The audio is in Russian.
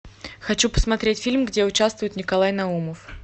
хочу посмотреть фильм где участвует николай наумов